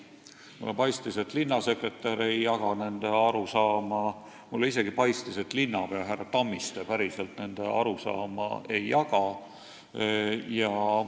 Mulle paistis, et linnasekretär ei jaga nende arusaama, mulle isegi paistis, et linnapea härra Tammiste päriselt nende arusaama ei jaga.